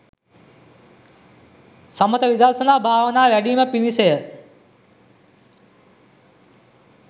සමථ විදර්ශනා භාවනා වැඞීම පිණිස ය.